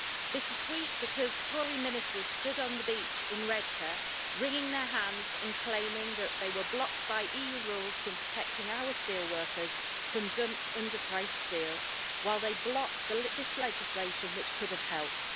Bittersweet, because Tory ministers stood on the beach in Redcar wringing their hands and claiming that they were blocked by EU rules from protecting our steelworkers from dumped under priced steal, while they blocked this legislation which could have helped.